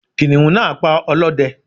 kìnìún náa pa olóde